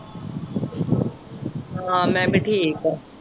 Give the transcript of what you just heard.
ਹਾਂ ਮੈਂ ਵੀ ਠੀਕ ਆ।